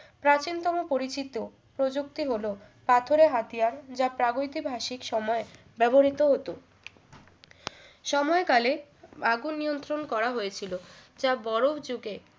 প্রাচীনতম পরিচিত প্রযুক্তি হল পাথরের হাতিয়ার যা প্রাগঐতিহাসিক সময় ব্যবহৃত হতো সময়কালে আগুন নিয়ন্ত্রণ করা হয়েছিল যা বড়ো উচুকে